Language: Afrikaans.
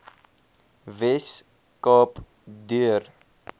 wes kaap deur